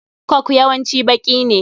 Coke yawanci baƙi ne.